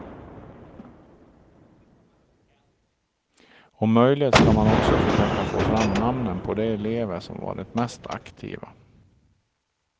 Om möjligt skall man också försöka få fram namnen på de elever som varit mest aktiva.